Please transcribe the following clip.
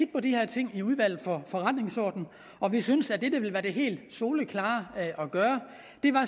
på de her ting i udvalget for forretningsordenen og vi synes at det der vil være det helt soleklare at gøre